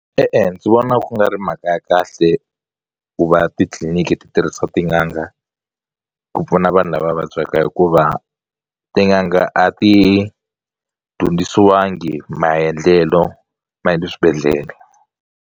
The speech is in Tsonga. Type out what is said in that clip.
E-e, ndzi vona ku nga ri mhaka ya kahle ku va titliliniki ti tirhisa tin'anga ku pfuna vanhu lava vabyaka hikuva tin'anga a ti dyondzisiwangi maendlelo ma le swibedhlelo.